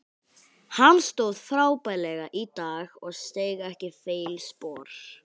Hann stóð frábærlega í dag og steig ekki feilspor.